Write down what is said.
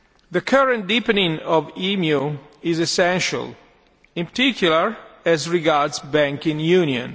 The current deepening of EMU is essential, in particular as regards banking union.